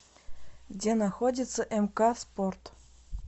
где находится мк спорт